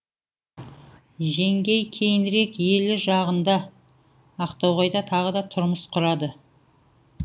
жеңгей кейінірек елі жағында ақтоғайда тағы да тұрмыс құрады